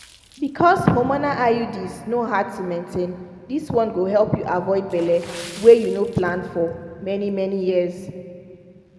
because hormonal iuds no hard to maintain this one go help you avoid belle wey you no plan for for many-many years.